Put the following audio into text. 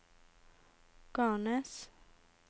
Garnes